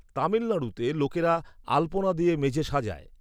তামিলনাড়ুতে লোকেরা আলপনা দিয়ে মেঝে সাজায়।